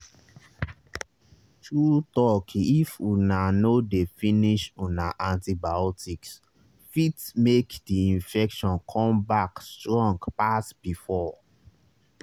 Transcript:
true talkif una no dey finish una antibioticse fit make the infection come back strong pass before